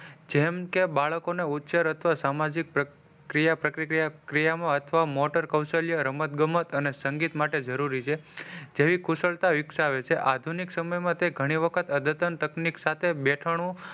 જેમ કે બાળકો ના ઉચ્ચાર અથવા સામાજિક ક્રિયા પ્રક્રિયા મોટર કૌશલ્ય રમત ગમત અને સંગીત માટે જરૂરી છે જેવી કુશળતા વિકસાવે છે આધુનિક સમય માં તે ગણી વખત અધતન તકનીક સાથે બેઠાણુ,